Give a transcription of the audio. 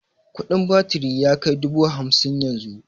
Kudin batiri yakai dubu hamsin yanzu